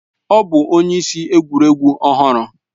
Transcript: Ọ bụ onye isi egwuregwu ọhụrụ